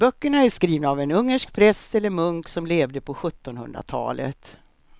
Böckerna är skrivna av en ungersk präst eller munk som levde på sjuttonhundratalet.